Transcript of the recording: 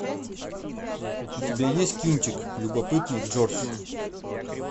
у тебя есть кинчик любопытный джордж